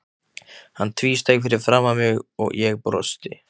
Hann tvísteig fyrir framan mig, ég brosti.